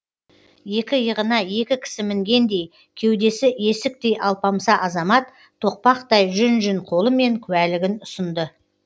екі иығына екі кісі мінгендей кеудесі есіктей алпамса азамат тоқпақтай жүн жүн қолымен куәлігін ұсынды